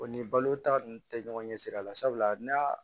O ni balota ninnu tɛ ɲɔgɔn ɲɛ sira la sabula n'a